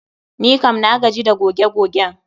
Nikam na gaji da goge gogen.